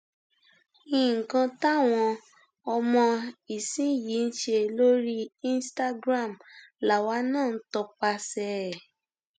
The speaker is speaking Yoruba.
nǹkan táwọn ọmọ ìsinyìí ń ṣe lórí instagram làwa náà ń tọpasẹ ẹ